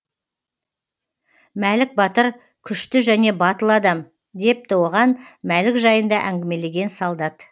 мәлік батыр күшті және батыл адам депті оған мәлік жайында әңгімелеген солдат